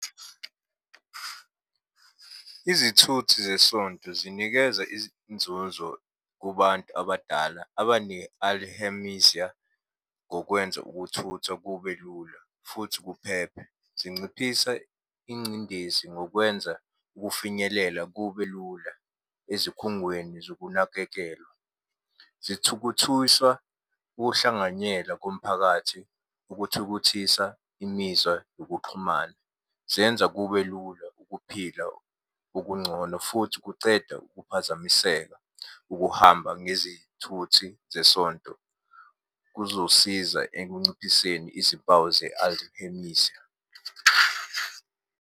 Izithuthi zesonto zinikeza izinzuzo kubantu abadala ngokwenza ukuthutha kube lula, futhi kuphephe, zinciphise ingcindezi ngokwenza ukufinyelela kube lula ezikhungweni zokunakekelwa. Zithukuthuysa ukuhlanganyela komphakathi ukuthukuthisa imizwa yokuxhumana. Zenza kube lula ukuphila okungcono futhi kuceda ukuphazamiseka ukuhamba ngezithuthi zesonto, kuzosiza ekunciphiseni izimpawu .